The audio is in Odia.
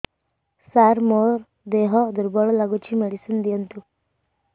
ସାର ମୋର ଦେହ ଦୁର୍ବଳ ଲାଗୁଚି ମେଡିସିନ ଦିଅନ୍ତୁ